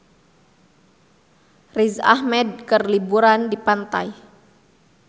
Riz Ahmed keur liburan di pantai